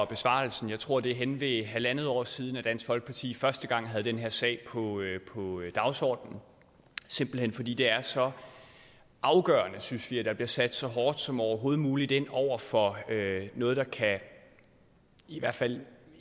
besvarelsen jeg tror det er hen ved halvandet år siden dansk folkeparti første gang havde den her sag på dagsordenen simpelt hen fordi det er så afgørende synes vi at der bliver sat så hårdt som overhovedet muligt ind over for noget der i hvert fald